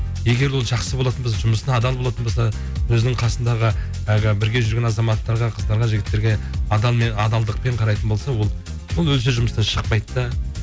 егер ол жақсы болатын болса жұмысына адал болатын болса өзінің қасындағы әлгі бірге жүрген азаматтарға қыздарға жігіттерге адалдықпен қарайтын болса ол ол өзі де жұмыстан шықпайда да